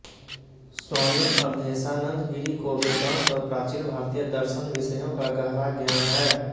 स्वामी अवधेशानंद गिरि को वेदांत और प्राचीन भारतीय दर्शन विषयों का गहरा ज्ञान है